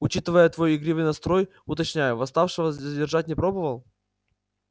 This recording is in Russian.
учитывая твой игривый настрой уточняю восставшего задержать не пробовал